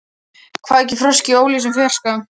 Kvak í froski í óljósum fjarska.